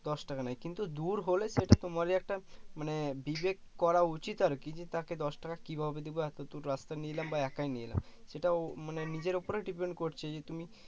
দশ টাকা নেয় কিন্তু দূর হলে সেটা তোমারি একটা মানে বিবেক করা উচিত আর কি যে তাকে দশ টাকা কি ভাবে দেব এতো দূর রাস্তা নিয়ে এলাম বা একাই নিয়ে এলাম সেটাও মানে নিজের উপরে depend করছে যে তুমি